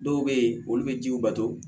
Dɔw bɛ yen olu bɛ jiw bato